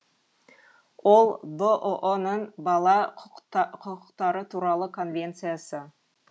ол бұұ ның бала құқықтары туралы конвенциясы